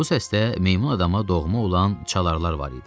Bu səsdə meymun adama doğma olan çalaralar var idi.